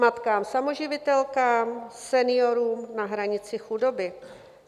Matkám samoživitelkám, seniorům na hranici chudoby?